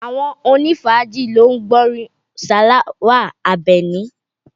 Àwọn onifaaji ló ń gbọ́ orin Salawa Abeni